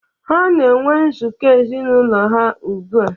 Ha na-enwe nzukọ ezinụlọ ha ugbu a